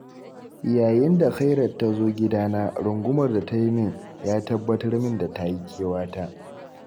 yayin da khairat tazo gidana, rungumar da tayi min, ya tabbatar min da tayi kewata.